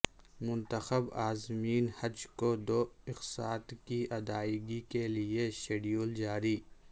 منتخب عازمین حج کو دو اقساط کی ادائیگی کیلئے شیڈول جاری